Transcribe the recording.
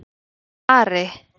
Ari